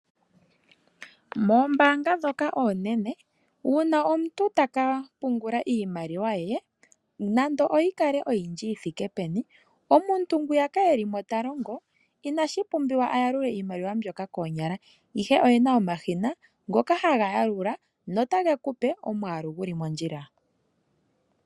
Moombaanga ndhoka oonene uuna omuntu taka pungula iimaliwa ye nande oyi kale oyindji yi thike peni, omuntu ngwiyaka eli mo ta longo inashi pumbiwa a yalule iimaliwa mbyoka koonyala ihe oyena omashina ngoka haga yalula notage kupe omwaalu guli mondjila.